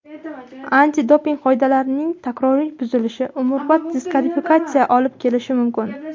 Antidoping qoidalarining takroriy buzilishi umrbod diskvalifikatsiyaga olib kelishi mumkin.